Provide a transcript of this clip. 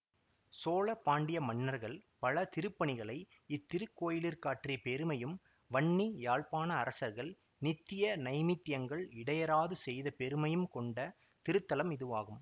சோழ பாண்டிய மன்னர்கள் பல திருப்பணிகளை இத்திருக்கோயிலிற்காற்றிய பெருமையும் வன்னி யாழ்ப்பாண அரசர்கள் நித்திய நைமித்தியங்கள் இடையறாது செய்த பெருமையுங் கொண்ட திருத்தலம் இதுவாகும்